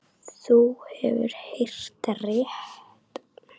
Þú hefur heyrt rétt.